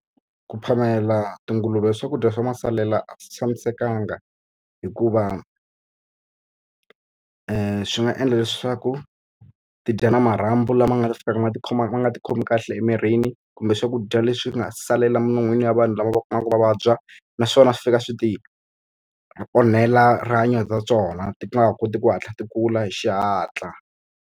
Ku phamela tinguluve swakudya swa masalela a swi tshamisekanga hikuva swi nga endla leswaku ti dya na marhambu lama nga fikaka ma ti khoma ma nga ti khomi kahle emirini, kumbe swakudya leswi nga salela milon'weni ya vanhu lava va kumaka va vabya. Naswona swi fika swi ti onhela rihanyo ta tona, ti nga ha koti ku hatla ti kula hi xihatla.